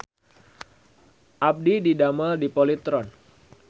Abdi didamel di Polytron